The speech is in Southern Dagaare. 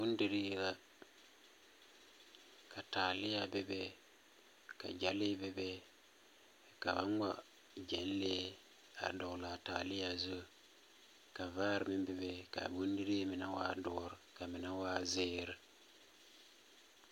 Bondirii la, ka taalea bebe, ka Gyɛlee bebe, ka ba ŋma Gyɛlee a dɔgle a taalea zu. Ka vaare meŋ bebe kaa Bondirii mine waa doɔr ka mine waa zeere.